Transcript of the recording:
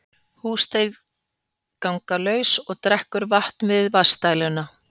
Húsdýr ganga laus og drekkur vatn við vatnsdæluna